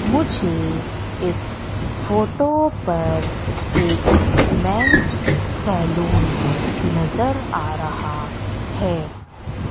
मुझे इस फोटो पर एक मेंन्स सैलुन नजर आ रहा हैं।